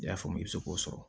I y'a faamu i bɛ se k'o sɔrɔ